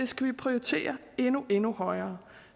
skal vi prioritere endnu endnu højere